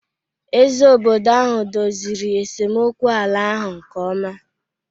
Eze obodo ahụ dozịrị esemokwu ala ahụ nke ọma